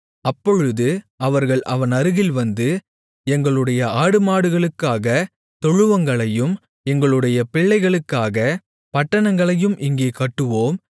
அப்பொழுது அவர்கள் அவன் அருகில் வந்து எங்களுடைய ஆடுமாடுகளுக்காகத் தொழுவங்களையும் எங்களுடைய பிள்ளைகளுக்காகப் பட்டணங்களையும் இங்கே கட்டுவோம்